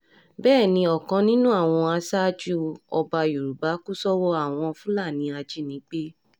bẹ́ẹ̀ ni ọ̀kan nínú àwọn aṣáájú ọba yorùbá kù sọ́wọ́ àwọn fúlàní ajínigbé